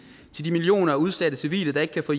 til de millioner af udsatte civile der ikke kan få